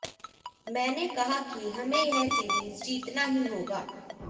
मैंने कहा कि हमें यह सीरीज जीतना ही होगा